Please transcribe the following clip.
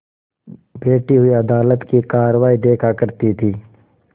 बैठी हुई अदालत की कारवाई देखा करती थी